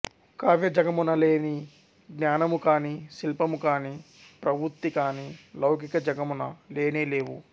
కావ్య జగమున లేని జ్ఞానముకాని శిల్పముకాని ప్రవృత్తికాని లౌకిక జగమున లేనేలేవు